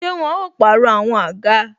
Ṣé wọn ó pàrọ̀ àwọn àga?